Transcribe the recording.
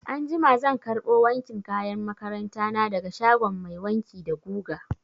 Anjima zan karɓo wankin kayan makaranta na daga shagon mai wanki da guga.